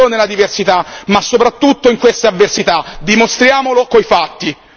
L'Europa deve essere veramente unita non solo nella diversità, ma soprattutto in queste avversità.